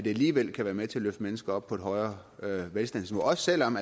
alligevel kan være med til at løfte mennesker op på et højere velstandsniveau også selv om